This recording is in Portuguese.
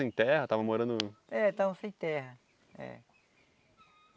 sem terra? Estavam morando... É, estavam sem terra. É.